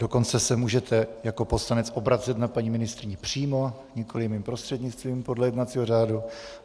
Dokonce se můžete jako poslanec obracet na paní ministryni přímo, nikoliv mým prostřednictvím, podle jednacího řádu.